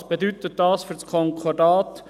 Was bedeutet dies für das Konkordat?